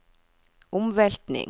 omveltning